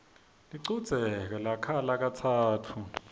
lichudze lakhala katsatfu